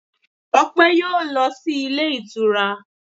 Ọpẹ yóò lọ sí ilé ìtura